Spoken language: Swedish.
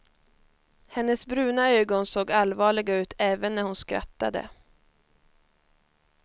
Hennes bruna ögon såg allvarliga ut även när hon skrattade.